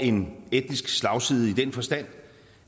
en etnisk slagside i den forstand